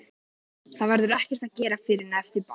Það verður ekkert að gera fyrr en eftir ball.